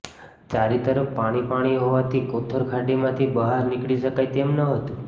ચારે તરફ પાણી પાણી હોવાથી કોથરખાડીમાંથી બહાર નીકળી શકાય તેમ ન હતું